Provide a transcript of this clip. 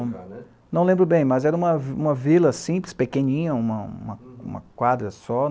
Não, não lembro bem, mas era uma uma vila simples, pequenininha, uma uma uma quadra só.